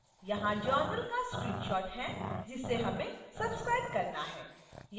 यहाँ journal का screenshot है जिसे हमें सब्सक्राइब करना है